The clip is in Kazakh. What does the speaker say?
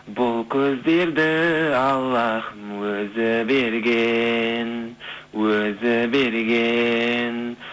бұл көздерді аллахым өзі берген өзі берген